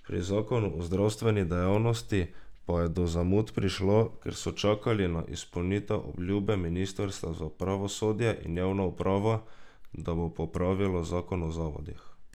Pri zakonu o zdravstveni dejavnosti pa je do zamud prišlo, ker so čakali na izpolnitev obljube ministrstva za pravosodje in javno upravo, da bo pripravilo zakon o zavodih.